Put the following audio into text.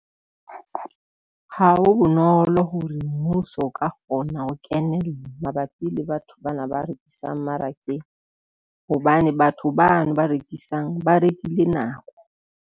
Ha ho bonolo hore mmuso o ka kgona ho kenela mabapi le batho bana ba rekisang mmarakeng, hobane batho bana ba rekisang ba rekile nako.